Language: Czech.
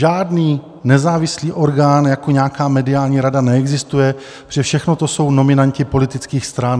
Žádný nezávislý orgán jako nějaká mediální rada neexistuje, protože všechno to jsou nominanti politických stran.